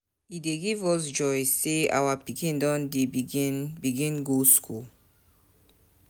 E dey give us joy sey our pikin don begin begin go skool.